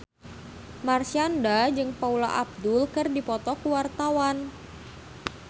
Marshanda jeung Paula Abdul keur dipoto ku wartawan